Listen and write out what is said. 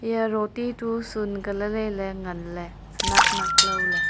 eya roti tu sunka lailailey nganley senaknak lawley.